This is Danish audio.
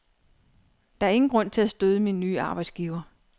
Der er ingen grund til at støde min nye arbejdsgiver.